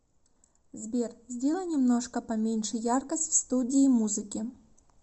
сбер сделай немножко поменьше яркость в студии музыки